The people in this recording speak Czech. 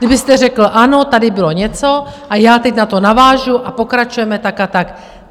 Kdybyste řekl ano, tady bylo něco a já teď na to navážu a pokračujeme tak a tak.